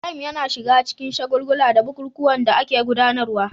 Ibrahim yana shiga cikin shagulgula da bukukuwan da ake gudanarwa